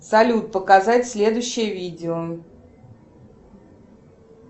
салют показать следующее видео